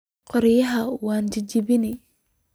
Koryaxa wan jajabini.